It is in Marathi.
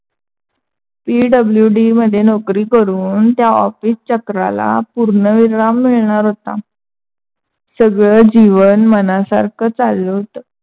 PWD मध्ये नौकरी करून त्या office चक्राला पूर्ण विराम मिळणार होता. सगळ जीवन मनासारखा चालल होता.